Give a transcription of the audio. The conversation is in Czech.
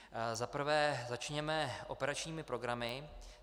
Za prvé začněme operačními programy.